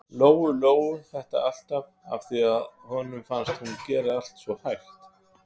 Lóu-Lóu þetta alltaf, af því að honum fannst hún gera allt svo hægt.